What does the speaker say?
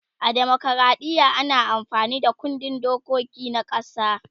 a demokradiya ana amfani Da kundin dokiki na ƙasa